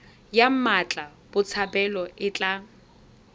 ya mmatla botshabelo e tla